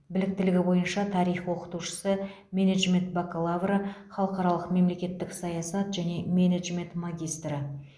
біліктілігі бойынша тарих оқытушысы менеджмент бакалавры халықаралық мемлекеттік саясат және менеджмент магистрі